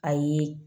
A ye